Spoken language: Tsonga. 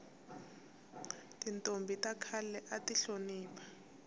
tintombhi ta khale ati hlonipha